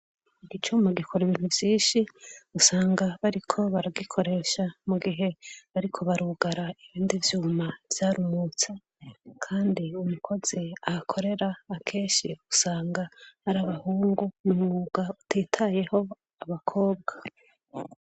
Icuma gikora ibintu vyinshi, usanga bariko baragikoresha mu gihe bariko barugara ibindi vyuma vyarumutse, kandi umukozi ahakorera akenshi, usanga ari abahungu, n'umwuga utitayeho abakobwa.